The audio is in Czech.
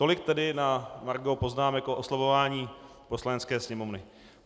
Tolik tedy na margo poznámek o oslabování Poslanecké sněmovny.